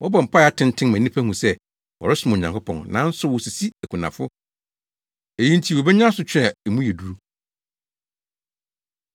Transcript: Wɔbɔ mpae atenten ma nnipa hu sɛ wɔresom Onyankopɔn, nanso wosisi akunafo. Eyi nti wobenya asotwe a mu yɛ duru.”